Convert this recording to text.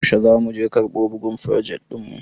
Yaushe za muje karɓo bugun frojet ɗin mu?